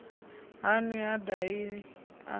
ha nwi ha dahi a